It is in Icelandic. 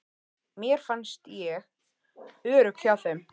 Mér fannst ég örugg hjá þeim.